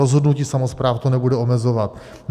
Rozhodnutí samospráv to nebude omezovat.